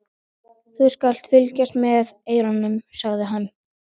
Þú skalt fylgjast með eyranu, sagði hann.